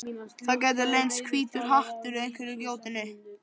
Það gæti leynst hvítur hattur í einhverri gjótunni.